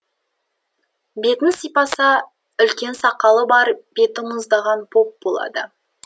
бетін сипаса үлкен сақалы бар беті мұздаған поп болады